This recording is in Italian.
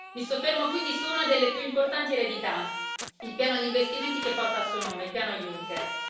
Mi soffermo quindi su una delle più importanti eredità il piano di investimenti che porta il Suo nome il piano Junker.